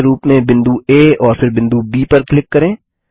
केंद्र के रूप में बिंदु आ और फिर बिंदु ब पर क्लिक करें